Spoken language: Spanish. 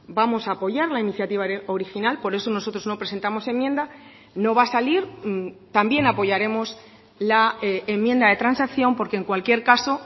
vamos a apoyar la iniciativa original por eso nosotros no presentamos enmienda no va a salir también apoyaremos la enmienda de transacción porque en cualquier caso